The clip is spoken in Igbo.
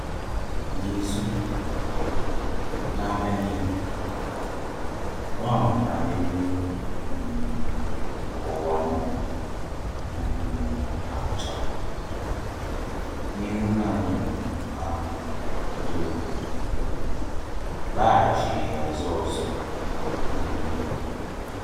N’izu na-abịa n’ihu, Noa matara na elu um ụwa um akpochala, n’ihi na nnụnụ ahụ — dovu — laghachighị azụ ọzọ. um